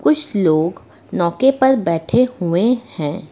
कुछ लोग नौके पर बैठे हुए हैं।